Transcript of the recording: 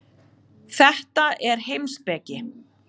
Þetta er heimspeki.